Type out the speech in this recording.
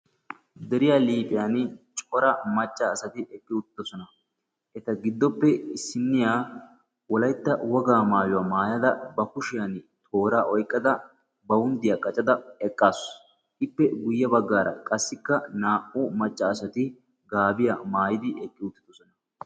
Deriya liiphphiyan cora macca asati eqqi uttiddossona. Eta giddoppe issiniya wolaytta wogaa maayuwa maayada ba kushshiyan tooraa oyqqada bawunddiya qaccada eqaasu, ippe guye baggaara qassikka naa"u macca asati gaabiyaa maayidi eqqi uttiddossona.